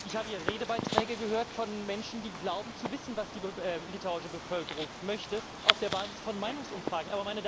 Ich habe hier Redebeiträge gehört von Menschen, die glauben zu wissen, was die litauische Bevölkerung möchte auf der Basis von Meinungsumfragen.